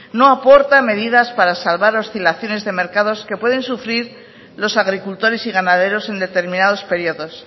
no aporta medidas para salvar oscilaciones de mercados que pueden sufrir los agricultores y ganaderos en determinados periodos